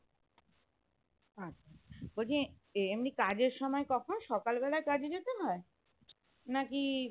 আচ্ছা বলছি এমনি কাজের সময় কখন? সকাল বেলায় কাজে যেতে হয় নাকি